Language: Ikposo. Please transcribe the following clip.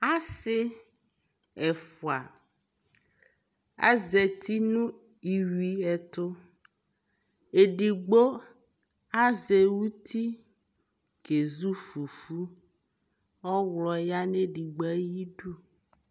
asii ɛƒʋa azati nʋ iwii ɛtʋ, ɛdigbɔ azɛ ʋti kɛzʋ fʋfʋ, ɔwlɔ yanʋ ɛdigbɔ ayidʋ